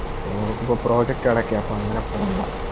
ആ നമുക്കിപ്പൊ Project അടയ്ക്കും അപ്പൊ അങ്ങനെ പോണ്ട